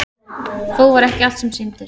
Þó var ekki allt sem sýndist.